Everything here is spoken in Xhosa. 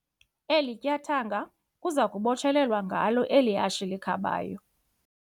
Eli tyathanga kuza kubotshelelwa ngalo eli hashe likhabayo.